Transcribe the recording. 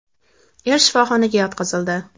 Er shifoxonaga yotqizildi.